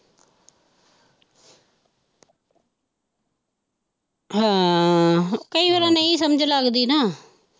ਹੈਅ ਹ ਕਈ ਵਾਰ ਨਹੀਂ ਸਮਝ ਲੱਗਦੀ ਨਾ।